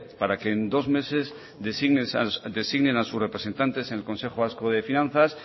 para que en dos meses designe a sus representantes en el consejo vasco de finanzas